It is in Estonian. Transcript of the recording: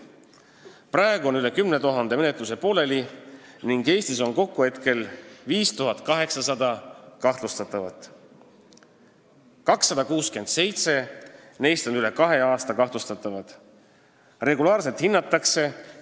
Praegu on pooleli üle 10 000 menetluse ning Eestis on kokku 5800 kahtlustatavat, sh 267 neist on olnud kahtlustatavad üle kahe aasta.